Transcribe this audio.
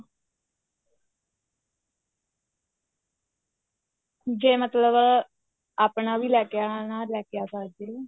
ਜੇ ਮਤਲਬ ਆਪਣਾ ਵੀ ਲੈ ਕੇ ਆਣਾ ਲੈ ਕੇ ਆ ਸਕਦੇ ਓ